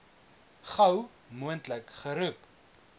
gou moontlik geroep